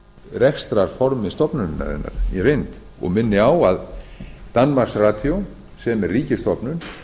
rekstrarformi stofnunarinnar í reynd ég minni á að danmarks radio sem er ríkisstofnun